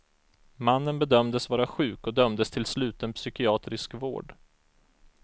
Mannen bedömdes vara sjuk och dömdes till sluten psykiatrisk vård.